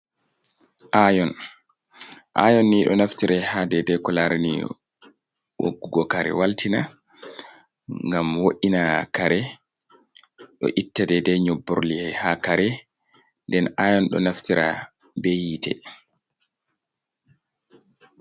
Aayon, Aayonni ɗo naftira haa dey-dey ko laarani woggugo kare waltina, ngam wo’ina kare, ɗo itta dey-dey nyobborli haa kare, nden Aayon ɗo naftira bee hiite.